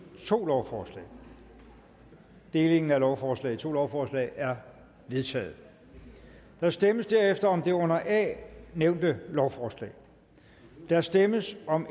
to lovforslag delingen af lovforslaget i to lovforslag er vedtaget der stemmes derefter om det under a nævnte lovforslag der stemmes om